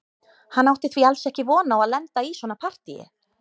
Hann átti því alls ekki von á að lenda í svona partíi.